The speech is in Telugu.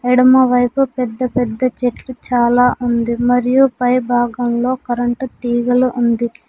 ఎడమ వైపు పెద్ద పెద్ద చెట్లు చాలా ఉంది మరియు పై భాగంలో కరెంటు తీగలు ఉంది.